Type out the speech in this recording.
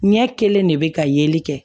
Ɲɛ kelen de bɛ ka yeli kɛ